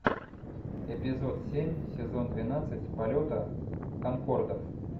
эпизод семь сезон двенадцать полета конкордов